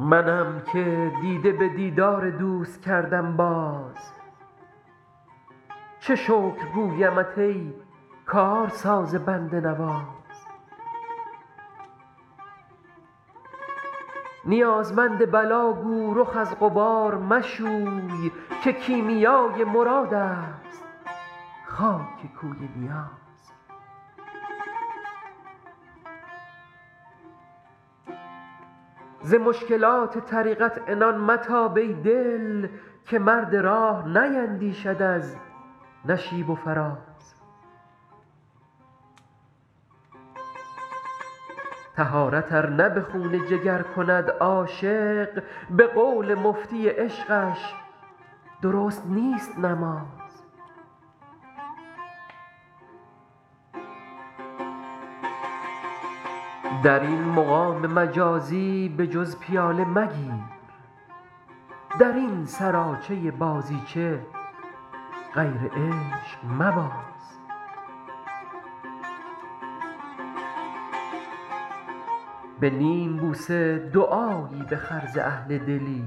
منم که دیده به دیدار دوست کردم باز چه شکر گویمت ای کارساز بنده نواز نیازمند بلا گو رخ از غبار مشوی که کیمیای مراد است خاک کوی نیاز ز مشکلات طریقت عنان متاب ای دل که مرد راه نیندیشد از نشیب و فراز طهارت ار نه به خون جگر کند عاشق به قول مفتی عشقش درست نیست نماز در این مقام مجازی به جز پیاله مگیر در این سراچه بازیچه غیر عشق مباز به نیم بوسه دعایی بخر ز اهل دلی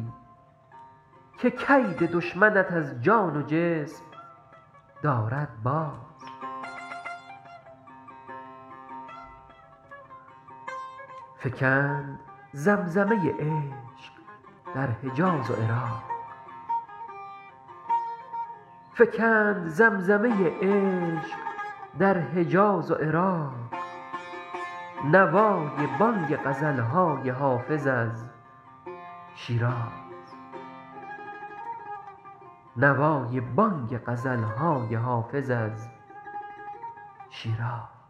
که کید دشمنت از جان و جسم دارد باز فکند زمزمه عشق در حجاز و عراق نوای بانگ غزل های حافظ از شیراز